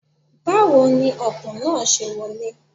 Báwo ni Ọ̀kùn náà ṣe wọlé?